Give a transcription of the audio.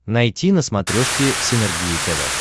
найти на смотрешке синергия тв